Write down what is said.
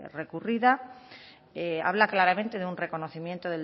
recurrida habla claramente de un reconocimiento